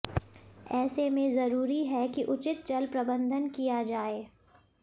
ऐसे में जरूरी है कि उचित जलप्रबंधन किया जाए